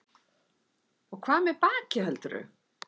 Og hvað með bakið, heldurðu?